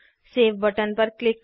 save button पर click करें